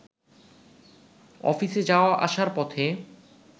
অফিসে যাওয়া-আসার পথে